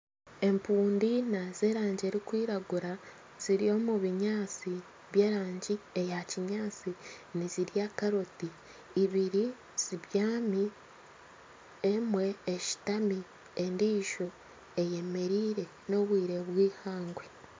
Empundu eina z'erangi erikwiragura, ziri omu binyaatsi by'erangi eya kinyaatsi nizirya karoti ibiri zibyami emwe eshutami endiijo eyemereire n'obwire bwihangwe